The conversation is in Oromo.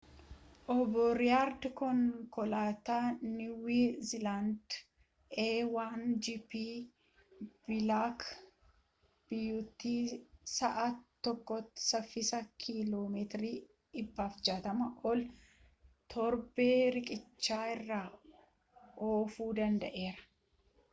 obbo reeyid konkolaataa niiwu ziilaandii a1gp bilaak biyuutii sa'a tokkotti saffisa kiiloo meetira 160 ol al torba riqicha irra oofuu danda'eera